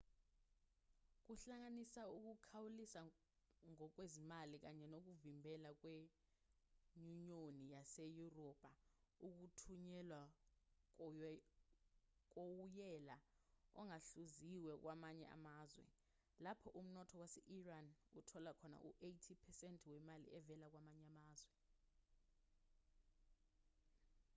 kuhlanganisa ukukhawulisa ngokwezimali kanye nokuvimbela kwenyunyoni yaseyurophu ukuthunyelwa kowoyela ongahluziwe kwamanye amazwe lapho umnotho wase-iran uthola khona u-80% wemali evela kwamanye amazwe